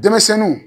Denmisɛnninw